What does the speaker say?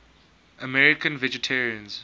american vegetarians